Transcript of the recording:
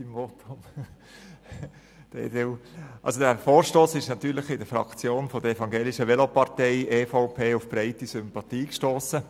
Dieser Vorstoss ist natürlich bei der Evangelischen Velopartei auf breite Sympathie gestossen.